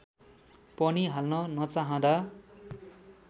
पनि हाल्न नचाहँदा